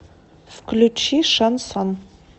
включи шансон